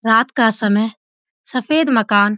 रात का समय सफेद मकान --